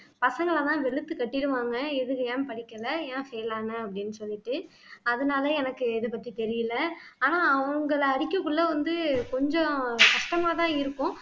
பசங்களை தான் வெளுத்து கட்டிருவாங்க எதுக்கு ஏன் படிக்கல ஏன் fail ஆனா அப்படின்னு சொல்லிட்டு அதனால எனக்கு இது பத்தி தெரியலை ஆனா அவங்களை அடிக்கக்குள்ள வந்து கொஞ்சம் கஷ்டமாதான் இருக்கும்